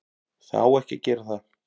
Það á ekki að gera það.